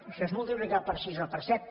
això és multiplicar per sis o per set